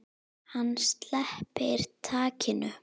Hann sleppir takinu.